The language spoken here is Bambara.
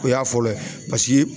O y'a fɔlɔ ye paseke